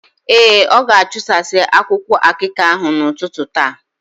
Ee, ọ ga-achụsasị akwụkwụ akịka ahụ n’ụtụtụ taa.